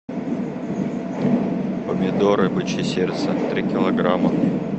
помидоры бычье сердце три килограмма